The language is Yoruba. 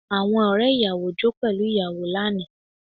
Àwọn ọ̀rẹ́ ìyàwó jó pẹ̀lú ìyàwó lánàá